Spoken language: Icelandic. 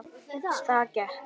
Þá gekk